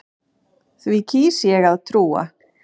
Því kýs ég að trúa.